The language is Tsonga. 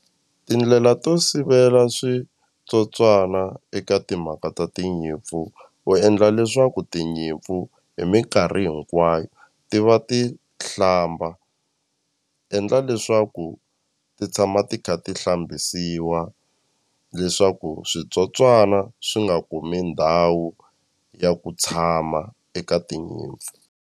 Tindlela to sivela switsotswana eka timhaka ta tinyimpfu u endla leswaku tinyimpfu hi minkarhi hinkwayo ti va ti hlamba endla leswaku ti tshama ti kha ti hlambisiwa leswaku switsotswana swi nga kumi ndhawu ya ku tshama eka tinyimpfu.